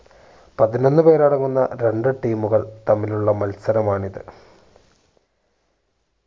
പതിനൊന്നുപേരടങ്ങുന്ന രണ്ടു team കൾ തമ്മിലുള്ള മത്സരമാണിത്